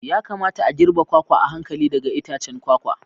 Ya kamata a girbe kwakwa a hankali daga itacen kwakwa.